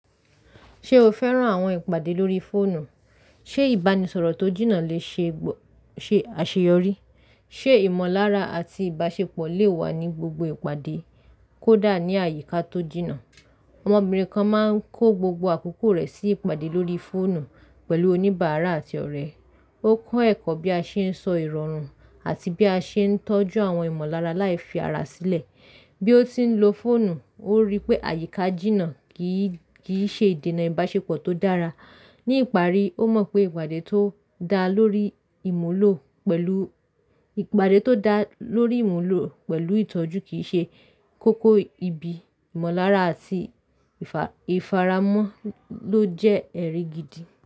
Ṣé o fẹ́ràn àwọn ìpàdé lórí fóònù? Ṣé ìbánisọ̀rọ̀ tó jìnnà lè ṣe àṣeyọrí? Ṣé ìmọ̀lára àti ìbáṣepọ̀ lè wà ní gbogbo ìpàdé kó dà ní àyíká tó jìnnà? Ọmọbìnrin kan máa ń kó gbogbo àkókò rẹ̀ sí ìpàdé lórí fóònù pẹ̀lú oníbàárà àti ọ̀rẹ́. Ó kọ́ ẹ̀kọ́ bí a ṣe ń sọ ìrọ̀rùn àti bí a ṣe ń tọ́jú àwọn ìmọ̀lára láì fi ara sílẹ̀. Bí ó tí n lo fóònù, ó rí i pé àyíká jìnnà kì í ṣe ìdènà ìbáṣepọ̀ tó dára. Ní ìparí, ó mọ̀ pé ìpàdé tó dá lórí ìmúlò pẹ̀lú ìtọ́jú kì í ṣe kókó ibi ìmọ̀lára àti ìfaramo ló jẹ́ ẹrìgìdì.